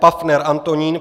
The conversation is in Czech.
Paffner Antonín